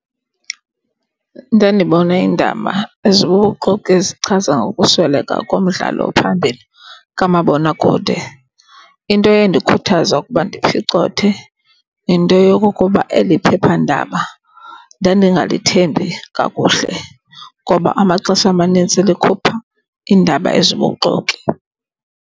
Ndandibona indaba ezibubuxoki ezichaza ngokusweleka komdlali ophambili kamabonakude. Into endikhuthaza ukuba ndiphicothe, yinto yokokuba eli phephandaba ndandingalithembi kakuhle ngoba amaxesha amanintsi likhupha iindaba ezibubuxoki.